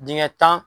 Dingɛ tan